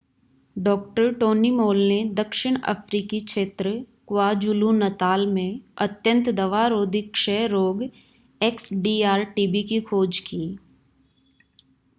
डॉ. Tony Mol ने दक्षिण अफ्रीकी क्षेत्र क्वाज़ुलु-नताल में अत्यंत दवा-रोधी क्षय रोग एक्सडीआर-टीबी की खोज की।